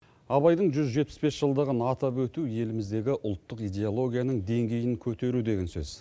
абайдың жүз жетпіс бес жылдығын атап өту еліміздегі ұлттық идеологияның деңгейін көтеру деген сөз